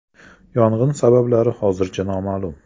Yong‘in sabablari hozircha noma’lum.